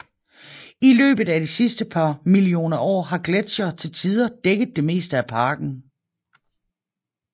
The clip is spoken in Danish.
I løbet af de sidste par millioner år har gletsjere til tider dækket det meste af parken